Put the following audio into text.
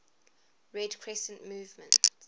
red crescent movement